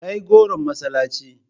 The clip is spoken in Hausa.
Kai goron masallaci.